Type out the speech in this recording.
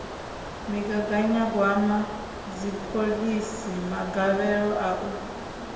migaganyagwama dziphoḽisi magavhelo a u